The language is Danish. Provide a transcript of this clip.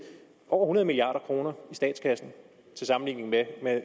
over hundrede milliard kroner i statskassen til sammenligning med